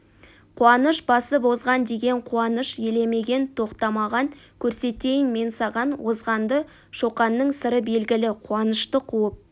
қуаныш басып озған деген қуаныш елемеген тоқтамаған көрсетейін мен саған озғанды шоқанның сыры белгілі қуанышты қуып